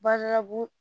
Badabugu